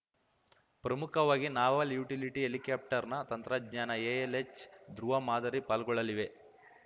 ಪ್ರಮುಖವಾಗಿ naval utility ಹೆಲಿಕ್ಯಾಪ್ಟರ್‌ನ ತಂತ್ರಜ್ಞಾನ ಎಎಲ್‌ಎಚ್‌ ಧೃವ ಮಾದರಿ ಪಾಲ್ಗೊಳ್ಳಲಿವೆ